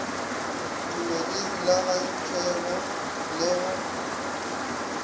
tuma di rulagantšwego le go